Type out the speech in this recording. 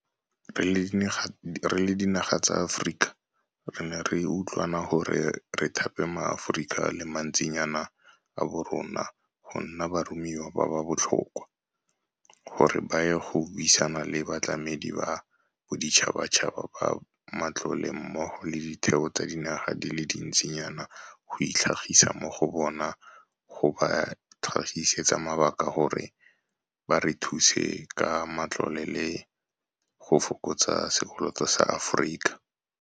Re le dinaga tsa Aforika re ne ra utlwana gore re thape maAforika a le mantsinyana a borona go nna baromiwa ba ba botlhokwa, gore ba ye go buisana le batlamedi ba boditšhabatšhaba ba matlole mmogo le ditheo tsa dinaga di le dintsinyana go itlhagisa mo go bona go ba tlhagisetsa mabaka gore ba re thuse ka matlole le go fokotsa sekoloto sa Aforika.